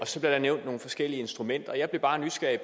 så blev der nævnt nogle forskellige instrumenter jeg blev bare nysgerrig